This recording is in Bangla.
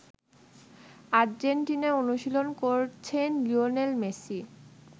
আর্জেন্টিনায় অনুশীলন করছেন লিওনেল মেসি।